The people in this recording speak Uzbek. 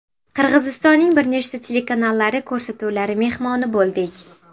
Qirg‘izistonning bir nechta telekanallari ko‘rsatuvlari mehmoni bo‘ldik.